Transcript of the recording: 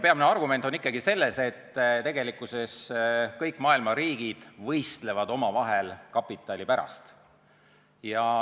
Peamine argument on ikkagi see, et kõik maailma riigid võistlevad omavahel kapitali pärast.